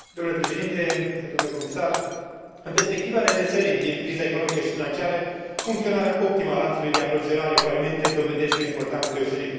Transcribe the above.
În perspectiva redresării din criza economică și financiară, funcționarea optimă a lanțului de aprovizionare cu alimente dobândește o importanță deosebită.